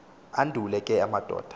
andule ke amadoda